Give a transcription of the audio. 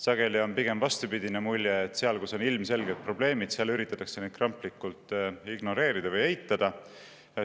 Sageli on pigem vastupidine mulje: seal, kus on ilmselged probleemid, üritatakse neid kramplikult ignoreerida või eitada.